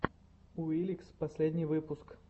уликс последний выпуск